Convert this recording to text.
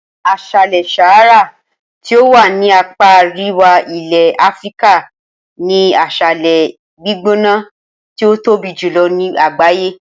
As̩álè̩ Sahara tí ó wà ní apá aríwá ilè̩ Áfíríkà ni as̩álè̩ gbígbóná tí ó tóbi jùlo̩ ní àgbàyé